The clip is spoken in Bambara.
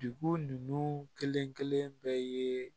Dugu ninnu kelen-kelen bɛɛ ye